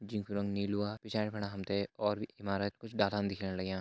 जिंकू रंग निलुवा पिछाणे खड़ा हम्थे और भी ईमारत क़ुछ डाला दिख्याणा लाग्यां।